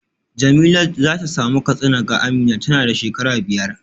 Jemilat za ta samu katsina ga Amina tana da shekara biyar